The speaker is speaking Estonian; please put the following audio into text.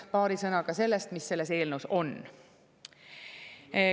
Paari sõnaga sellest, mis selles eelnõus on.